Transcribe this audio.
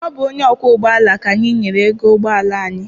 Ọ bụ onye ọkwọ ụgbọala ka anyị nyere ego ụgbọala anyị.